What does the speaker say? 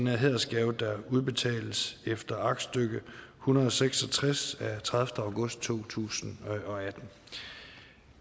hædersgave der udbetales efter aktstykke en hundrede og seks og tres af tredivete august to tusind og atten